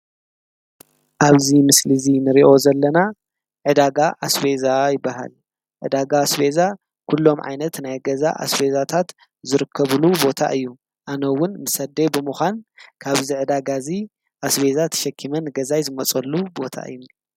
ኣብዚ ምስሊ እንረኦ እዚ ዘለና ዕዳጋ ኣስቤዛ ይበሃል። ዕዳጋ ኣስቤዛ ኩሉም ዓይነት ናይ ገዛ ኣስቤዛታት ዝረከቡሉ ቦታ እዩ፣ አነ እውን መሰ ኣደይ ብምካን ካብዚ ዕዳጋ እዙይ ኣስቤዛ ተሸኪመ ንገዛየ ዝመፀሉ ባታ እዩ ።